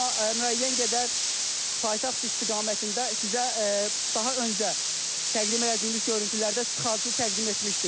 Amma müəyyən qədər paytaxt istiqamətində sizə daha öncə təqdim elədiyimiz görüntülərdə tıxacı təqdim etmişdik.